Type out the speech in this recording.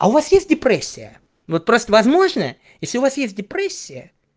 а у вас есть депрессия вот просто возможно если у вас есть депрессия